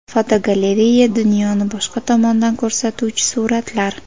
Fotogalereya: Dunyoni boshqa tomondan ko‘rsatuvchi suratlar.